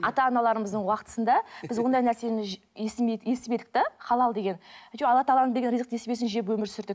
ата аналарымыздың уақытысында біз ондай нәрсені естімедік те халал деген алла тағаланың берген ризық несібесін жеп өмір сүрдік